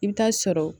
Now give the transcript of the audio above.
I bɛ taa sɔrɔ